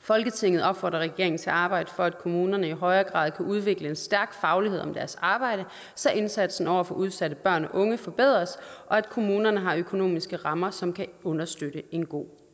folketinget opfordrer regeringen til at arbejde for at kommunerne i højere grad kan udvikle en stærk faglighed om deres arbejde så indsatsen over for udsatte børn og unge forbedres og at kommunerne har økonomiske rammer som kan understøtte en god